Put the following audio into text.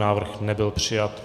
Návrh nebyl přijat.